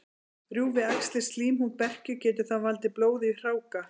Rjúfi æxlið slímhúð berkju, getur það valdið blóði í hráka.